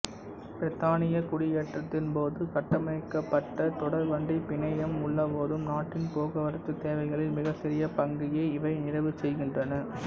பிரித்தானிய குடியேற்றத்தின்போது கட்டமைக்கப்பட்ட தொடர்வண்டிப் பிணையம் உள்ளபோதும் நாட்டின் போக்குவரத்துத் தேவைகளில் மிகச்சிறிய பங்கையே இவை நிறைவு செய்கின்றன